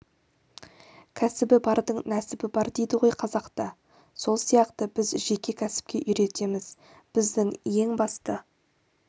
кәсібі бардың нәсібі бар дейді ғой қазақта сол сияқты біз жеке кәсіпке үйретеміз біздің ең басты